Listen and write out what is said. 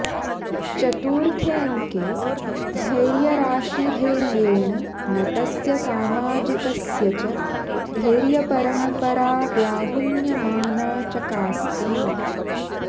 चतुर्थेऽङ्के धैर्यराशिधैर्येण नटस्य सामाजिकस्य च धैर्यपरम्परा व्याहुन्यमाना चकास्ति